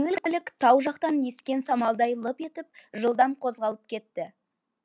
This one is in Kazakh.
жеңіл көлік тау жақтан ескен самалдай лып етіп жылдам қозғалып кетті